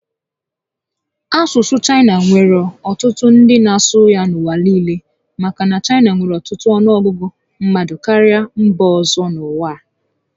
Asusu Chaina nwere otutu ndi na asu ya n'uwa niile maka na Chaina nwere otutu onuogugu mmadu karia mba ozo n'uwa a